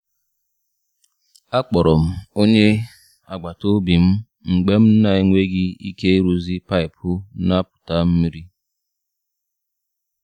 A kporo m onye agbata obi m mgbe m na-enweghị ike ịrụzi paịpụ na-apụta mmiri.